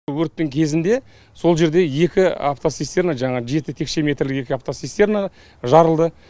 өрттің кезінде сол жерде екі автоцистерна жаңағы жеті текше метрлік екі автоцистерна жарылды